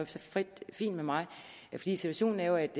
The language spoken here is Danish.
fint med mig situationen er jo at